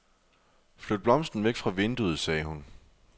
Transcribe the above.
Flyt blomsten væk fra vinduet, sagde hun.